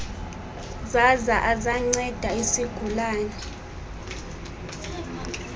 zaza azanceda isigulane